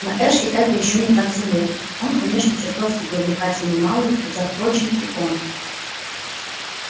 на эшли это ещё не так заметно он конечно чертовски привлекательный малый хотя впрочем и он